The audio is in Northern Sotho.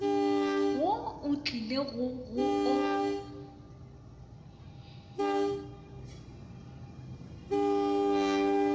wo o tlilego go o